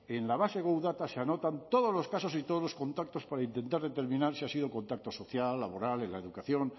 en la base web data se anotan todos los casos y todos los contactos para intentar determinar si ha sido contacto social laboral en la educación